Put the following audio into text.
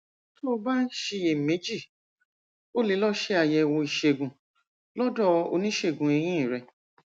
tó o bá ń ṣiyèméjì o lè lọ ṣe àyẹwò ìṣègùn lọdọ oníṣègùn eyín rẹ